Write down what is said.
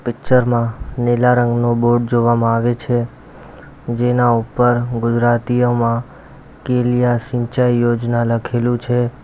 Picture માં નીલા રંગનો બોર્ડ જોવામાં આવે છે જેના ઉપર ગુજરાતીયમાં કેલીયા સિંચાઈ યોજના લખેલું છે.